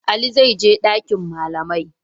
Ali zai je ɗakin malamai.